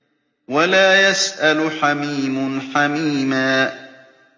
وَلَا يَسْأَلُ حَمِيمٌ حَمِيمًا